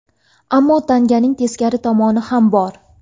Ammo tanganing teskari tomoni ham bor.